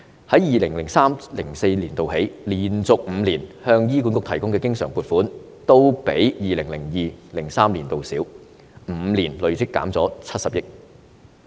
從 2003-2004 年度起，連續5年向醫管局提供的經常撥款，都比 2002-2003 年度少 ，5 年累積減少了70億元。